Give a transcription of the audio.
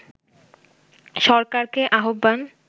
সরকারকে আহ্বান